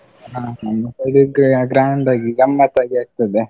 ಹ, ನಮ್ side gra~ grand ಆಗಿ ಗಮ್ಮತ್ ಆಗಿ ಆಗ್ತದೆ.